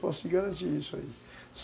Posso te garantir isso aí.